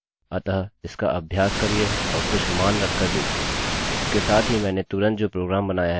जल्द ही लूप्सloops पर और ट्यूटोरियल्स होंगे अतः देखते रहिये